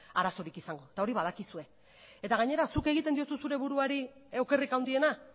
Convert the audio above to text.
arazorik izango eta hori badakizue eta gainera zuk egiten diozu zure buruari okerrik handiena